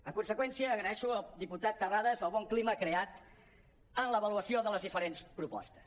en conseqüència agraeixo al diputat terrades el bon cli·ma creat en l’avaluació de les diferents propostes